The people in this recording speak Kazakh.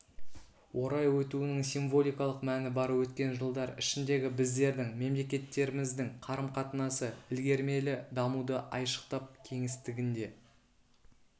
орай өтуінің символикалық мәні бар өткен жылдар ішіндегі біздердің мемлекеттеріміздің қарым-қатынасы ілгерілемелі дамуды айшықтап кеңістігінде